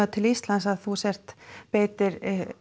til Íslands að þú sért beitir